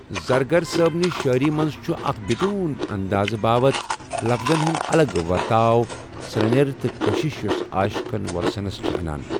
زرگر صأبنِہ شاعری مَنٛز چھُ اَکھ بِدون اندازِ باوت ، لفظن ہُنٛد الگ ورتاو سرینٛیر تٕہ کٔشِش یۄس عاشقن وولسَنس چَھ انان۔